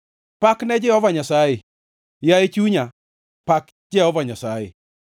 Pak ne Jehova Nyasaye! Yaye chunya, pak Jehova Nyasaye.